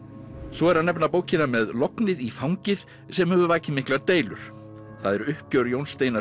svo er að nefna bókina með lognið í fangið sem hefur vakið miklar deilur það er uppgjör Jóns Steinar